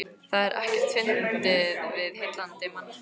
Það er ekkert fyndið við heillandi mann einsog þig.